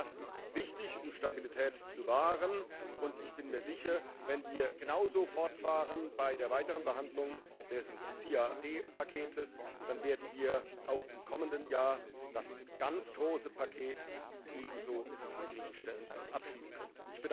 Das ist wichtig um Stabilität zu wahren, und ich bin mir sicher Wenn wir genauso fortfahren bei der weiteren Behandlung des CAD Paketes, dann werden wir auch im kommenden Jahr das ganz große Paket ebenso zufriedenstellend abschließen können.